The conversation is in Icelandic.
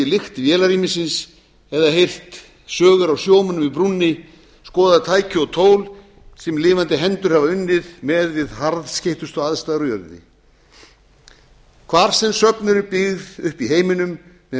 lykt vélarrýmisins eða heyrt sögur af sjómönnum í brúnni skoðað tæki og tól sem lifandi hendur hafa unnið með við harðskeyttustu aðstæður á jörðinni hvar sem söfn eru byggð upp í heiminum með metnaði